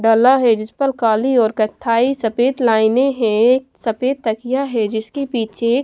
डला है। जिस पर काली और कत्थाई सफेद लाइनें है। सफेद तकिया है। जिसके पीछे --